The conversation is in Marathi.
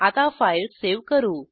आता फाईल सावे करू